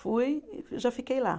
Fui, já fiquei lá.